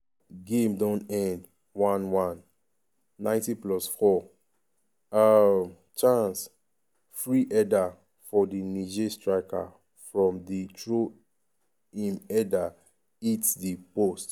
game don end 1-1 90+4 um chaaaance!free header for di niger striker from di throw im header hit di post